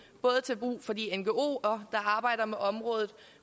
både til brug for de ngoere der arbejder med området